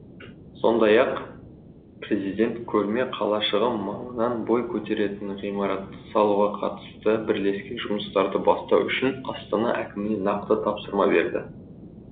сондай ақ президент көрме қалашығы маңынан бой көтеретін ғимаратты салуға қатысты бірлескен жұмыстарды бастау үшін астана әкіміне нақты тапсырма берді